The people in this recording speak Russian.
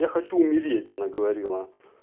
я хочу умереть она говорила